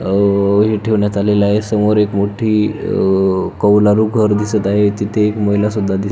अह हे ठेवण्यात आलेल आहे समोर एक मोठी अह कावलारू घर दिसत आहे तिथे एक महिला सुद्धा दिस --